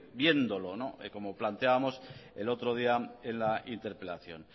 viéndolo como planteábamos el otro día en la interpelación